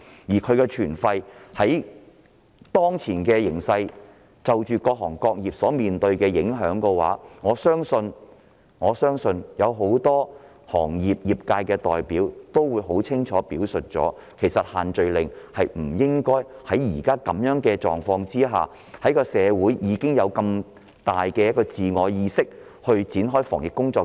此外，就當前形勢、各行各業所面對的影響而言，相信很多業界代表均明確地認為不應在現時的狀況下繼續實施限聚令，因為社會已建立強烈的自我意識，展開種種防疫工作。